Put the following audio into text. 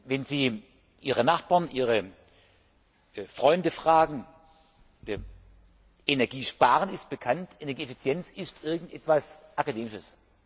Wenn Sie Ihre Nachbarn, Ihre Freunde fragen Energiesparen ist bekannt, Energieeffizienz ist irgendetwas Akademisches.